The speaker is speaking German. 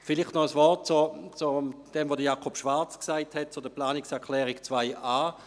Vielleicht noch ein Wort zu dem, was Jakob Schwarz zur Planungserklärung 2.a gesagt hat.